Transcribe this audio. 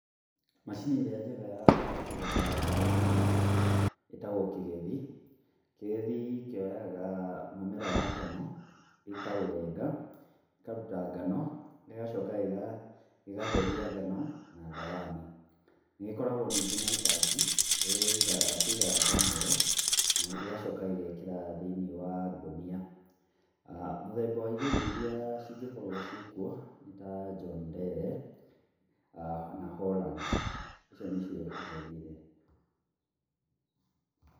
Macini ĩrĩa njega ya kũgetha ngano ĩtagwo kĩgethi. Kĩgethi kĩoyaga mũmera wa ngano gĩkaũrenga, gĩkaruta ngano gĩgacoka gĩgatheria ngano na thawani. Nĩgĩkoragwo ningĩ na itangi rĩrĩa kĩigaga ngano ĩyo, na gĩgacoka gĩgekĩra thĩinĩ wa ngũnia. Mũthemba wa igethi iria cingĩkorwo cirĩ kuo nĩta John Deere na Holland icio nĩcio igethi.